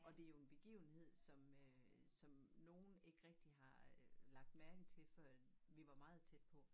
Og det jo en begivenhed som øh som nogen ikke rigtig har øh lagt mærke til før vi var meget tæt på